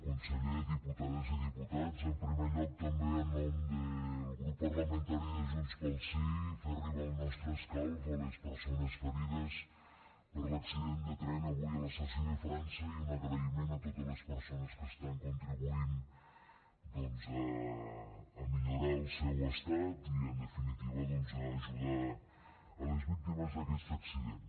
conseller diputades i diputats en primer lloc també en nom del grup parlamentari de junts pel sí fer arribar el nostre escalf a les persones ferides per l’accident de tren avui a l’estació de frança i un agraïment a totes les persones que estan contribuint doncs a millorar el seu estat i en definitiva doncs a ajudar a les víctimes d’aquest accident